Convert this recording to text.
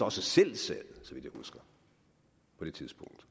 også selv sad på det tidspunkt